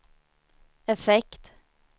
effekt